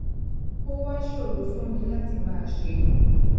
ó wá ṣòro fún mi láti máa ṣe